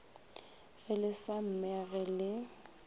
ge le sa mmege le